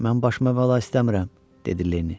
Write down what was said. Mən başıma bəla istəmirəm, dedi Lenni.